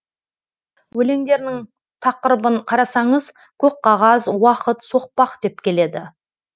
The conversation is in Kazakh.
өлеңдерінің тақырыбын қарасаңыз көк қағаз уақыт соқпақ деп келеді